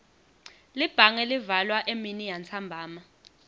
libhange livalwa eminiyantsambama